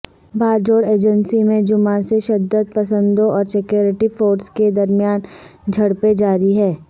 Bajaur agency میں جمعہ سے شدت پسندوں اور سکیورٹی فورسز کے درمیان جھڑپیں جاری ہیں